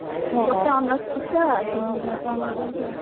ହଁ, ଗୋଟା honours ପିଛା ତିନିହଜାରେ ଟଙ୍କା, ନଉଛନ୍ତି ଆଉ।